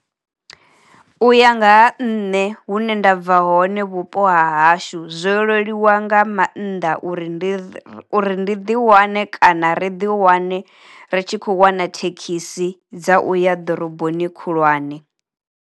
U ya nga ha nṋe hu ne ndabva hone vhupo ha hashu zwo leluwa nga mannḓa uri ndi uri ndi ḓi wane kana ri ḓi wane ri tshi khou wana thekhisi dza uya ḓoroboni khulwane.